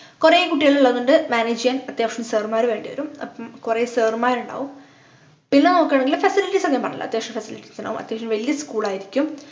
കൊറേ കുട്ടികളുള്ളത് കൊണ്ട് manage ചെയ്യാൻ അത്യാവശ്യം sir മ്മാര് വേണ്ടിവരും അപ്പം കൊറേ sir മാരുണ്ടാവും പിന്നെ നോക്കുകാണെങ്കിൽ facilities ഞാൻ പറഞ്ഞല്ലോ അത്യാവശ്യം facilities ഉണ്ടാവും അത്യാവശ്യം വല്യ school ആയിരിക്കും